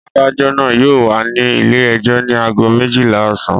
Adájọ́ náà yóò wà ní ilé-ẹjọ́ ní ago méjìlá ọ̀sán.